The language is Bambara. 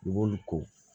ko